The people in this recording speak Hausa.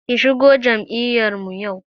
Ki shigo jam'iyar mu!